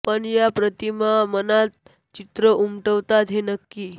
पण या प्रतिमा मनात चित्रं उमटवतात हे नक्की